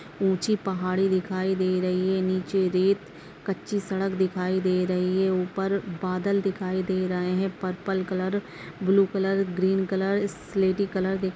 ऊंची पहाड़ी दिखाई दे रही है नीचे रेत कच्ची सड़क दिखाई दे रही है ऊपर बादल दिखाई दे रहे है purple colour blue colour green colour स्लेटी कलर --